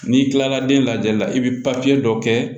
N'i kilala den lajɛli la i bi dɔ kɛ